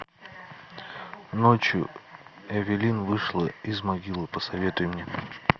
ночью эвелин вышла из могилы посоветуй мне